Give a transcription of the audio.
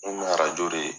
N kun bɛ arajo de ye